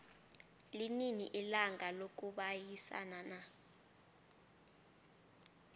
linini ilanga lokubayisana na